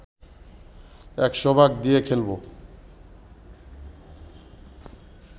১০০ ভাগ দিয়ে খেলবো